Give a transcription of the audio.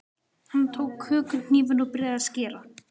Hann tók kökuhnífinn og byrjaði að skera.